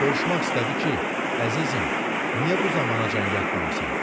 soruşmaq istədi ki, əzizim, niyə bu zamanacan yatmamısan?